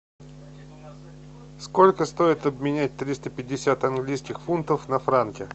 сколько стоит обменять триста пятьдесят английских фунтов на франки